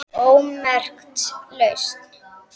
ómerkt lausn